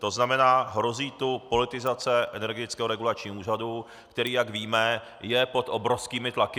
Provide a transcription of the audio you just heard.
To znamená, hrozí tu politizace Energetického regulačního úřadu, který, jak víme, je pod obrovskými tlaky.